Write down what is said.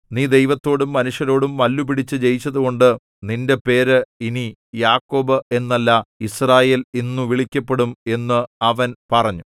നീ ദൈവത്തോടും മനുഷ്യരോടും മല്ലുപിടിച്ചു ജയിച്ചതുകൊണ്ടു നിന്റെ പേര് ഇനി യാക്കോബ് എന്നല്ല യിസ്രായേൽ എന്നു വിളിക്കപ്പെടും എന്ന് അവൻ പറഞ്ഞു